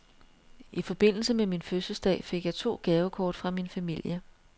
I forbindelse med min fødselsdag fik jeg to gavekort fra min familie.